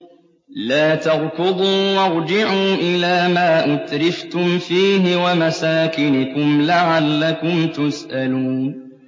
لَا تَرْكُضُوا وَارْجِعُوا إِلَىٰ مَا أُتْرِفْتُمْ فِيهِ وَمَسَاكِنِكُمْ لَعَلَّكُمْ تُسْأَلُونَ